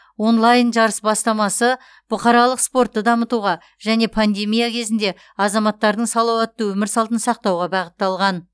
онлайн жарыс бастамасы бұқаралық спортты дамытуға және пандемия кезінде азаматтардың салауатты өмір салтын сақтауға бағытталған